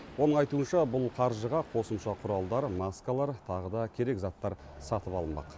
оның айтуынша бұл қаржыға қосымша құралдар маскалар тағы да керек заттар сатып алынбақ